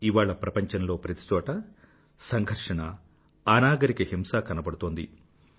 ఇవాళ ప్రపంచంలో ప్రతి చోటా సంఘర్షణ అనాగరిక హింస కనబడుతోంది